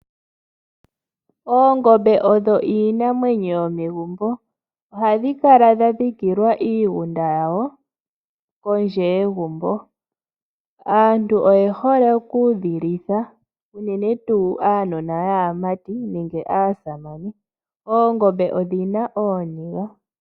Oongombe odho iinamwenyo yomegumbo, ohadhi kala dha dhikilwa iigunda yawo kondje yegumbo. Aantu oye hole oku dhi litha unene tuu aanona yaamati nenge aasamane. Oongombe odhi na ooniga.